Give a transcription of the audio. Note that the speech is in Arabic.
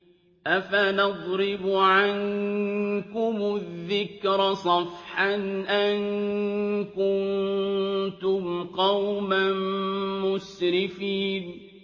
أَفَنَضْرِبُ عَنكُمُ الذِّكْرَ صَفْحًا أَن كُنتُمْ قَوْمًا مُّسْرِفِينَ